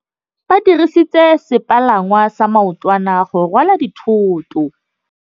Ba dirisitse sepalangwasa maotwana go rwala dithôtô.